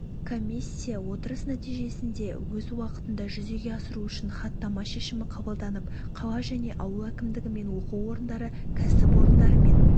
комиссия отырыс нәтижесінде өз уақытында жүзеге асыру үшін хаттама шешімі қабылданып қала және ауыл әкімдігі мен оқу орындары кәсіп орындары мен